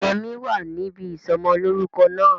Yẹmí wa níbi ìsọmọlórúko náà